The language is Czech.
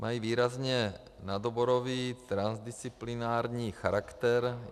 Mají výrazně nadoborový, transdisciplinární charakter.